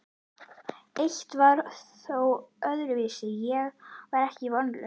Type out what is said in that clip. Eitt var þó öðruvísi: Ég var ekki vonlaus.